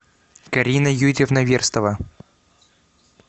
карина юрьевна верстова